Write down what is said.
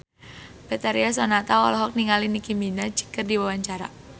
Betharia Sonata olohok ningali Nicky Minaj keur diwawancara